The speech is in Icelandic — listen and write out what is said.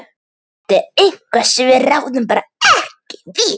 Þetta er eitthvað sem við ráðum bara ekki við.